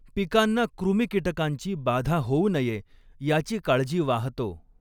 पिकांना कृमिकीटकांची बाधा होऊ नये याची काळजी वाहातो.